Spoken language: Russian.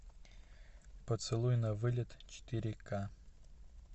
поцелуй на вылет четыре ка